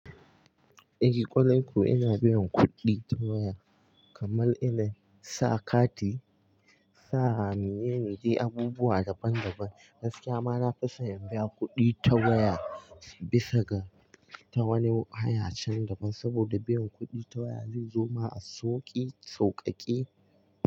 Eh ƙwarai kuwa ina biyan kuɗi ta waya kamar ina sa kati, sa miye, miji abubuwa daban daban. Gaskiya ma na fi so in biya kuɗi ta waya bisa ga ta wani hayace daban saboda biyan kuɗi ta waya zai zo ma a sauƙi sauƙaƙe.